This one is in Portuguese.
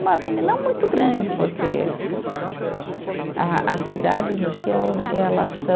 Uma avenida não muito grande, porque a as cidades no Chile, elas são